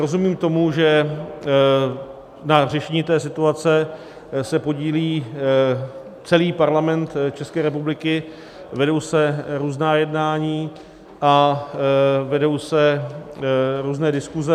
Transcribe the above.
Rozumím tomu, že na řešení té situace se podílí celý Parlament České republiky, vedou se různá jednání a vedou se různé diskuze.